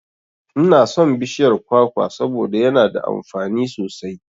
Inason bishiyar kwakwa saboda yana da amfani sosai